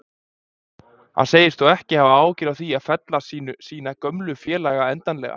Hann segist þó ekki hafa áhyggjur af því að fella sína gömlu félaga endanlega.